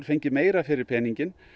fengið meira fyrir peninginn